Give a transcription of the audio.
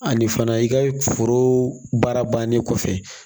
Ani fana i ka foro baara bannen kɔfɛ